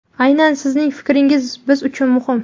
Aynan sizning fikringiz biz uchun muhim!.